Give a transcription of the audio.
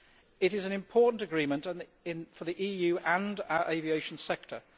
It is an important agreement for the EU and our aviation sector.